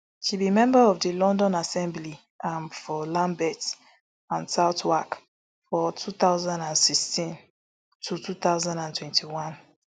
she be member of di london assembly am for lambeth and southwark from two thousand and sixteen to two thousand and twenty-one